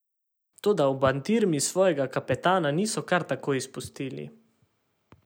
Toda v Bandirmi svojega kapetana niso kar tako izpustili.